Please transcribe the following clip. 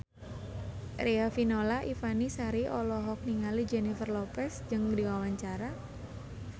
Riafinola Ifani Sari olohok ningali Jennifer Lopez keur diwawancara